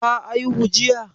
Ta aihu jiya?